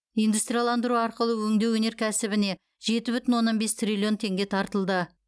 индустрияландыру арқылы өңдеу өнеркәсібіне жеті бүтін оннан бес триллион теңге тартылды